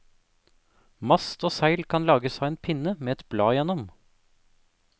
Mast og seil kan lages av en pinne med et blad igjennom.